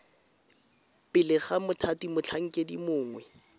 pele ga mothati motlhankedi mongwe